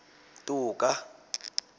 toka